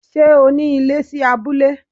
Ṣé o ní ilé sí abúlé?